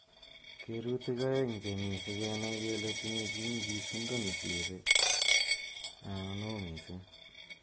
Kerutik aeng' chemii segeneai kele tinye chii nyigisindo nesire anan oo missing.